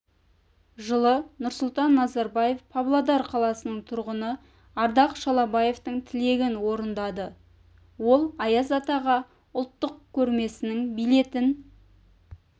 жылы нұрсұлтан назарбаев павлодар қаласының тұрғыны ардақ шалабаевтың тілегін орындады ол аяз атаға ұлттық көрмесінің билетін